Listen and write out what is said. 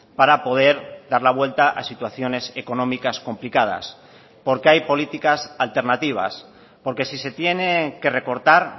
para poder dar la vuelta a situaciones económicas complicadas porque hay políticas alternativas porque si se tiene que recortar